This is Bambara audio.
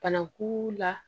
Banaku la